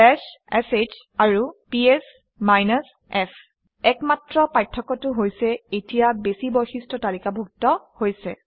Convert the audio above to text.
bash sh and PS f একমাত্ৰ পাৰ্থক্যটো হৈছে এতিয়া বেছি বৈশিষ্ট্য তালিকাভুক্ত হৈছে